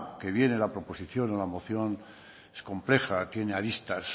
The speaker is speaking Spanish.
que viene la proposición o la moción es compleja tiene aristas